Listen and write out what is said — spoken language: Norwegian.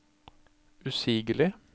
usigelig